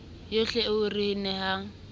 yohle eo o re nehang